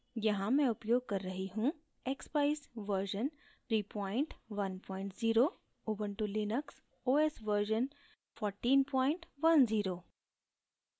यहाँ मैं उपयोग कर रही हूँ: